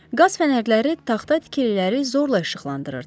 Qaz fənərləri taxta tikililəri zorla işıqlandırırdı.